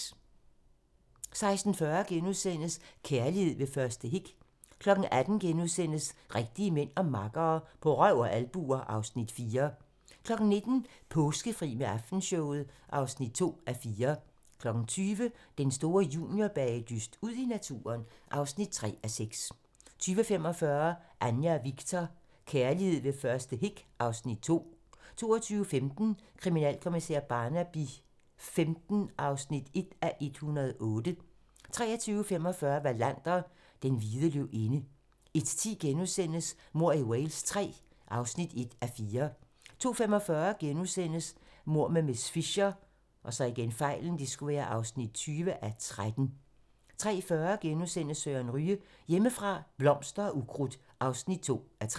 16:40: Kærlighed ved første hik * 18:00: Rigtige mænd og makkere - På røv og albuer (Afs. 4)* 19:00: Påskefri med Aftenshowet (2:4) 20:00: Den store juniorbagedyst - Ud i naturen (3:6) 20:45: Anja og Viktor: Kærlighed ved første hik 2 22:15: Kriminalkommissær Barnaby XV (1:108) 23:45: Wallander: Den hvide løvinde 01:10: Mord i Wales III (1:4)* 02:45: Mord med miss Fisher (20:13)* 03:40: Søren Ryge: Hjemmefra - blomster og ukrudt (2:3)*